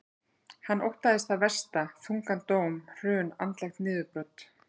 Hann óttast það versta, þungan dóm, hrun, andlegt niðurbrot.